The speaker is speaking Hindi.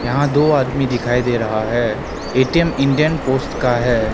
यहां दो आदमी दिखाई दे रहा है ए_टी_एम इंडियन पोस्ट का है।